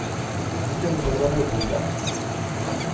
ну эта телка там работает да